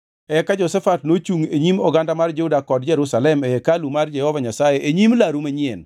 Eka Jehoshafat nochungʼ e nyim oganda mar Juda kod Jerusalem e hekalu mar Jehova Nyasaye e nyim laru manyien